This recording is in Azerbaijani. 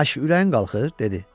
Aşı ürəyin qalxır, dedi.